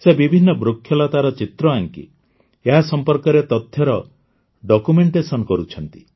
ସେ ବିଭିନ୍ନ ବୃକ୍ଷଲତାର ଚିତ୍ର ଆଙ୍କି ଏହା ସମ୍ପର୍କରେ ତଥ୍ୟର ଡକ୍ୟୁମେଣ୍ଟେସନ୍ କରୁଛନ୍ତି